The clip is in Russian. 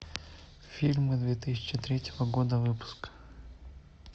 фильмы две тысячи третьего года выпуска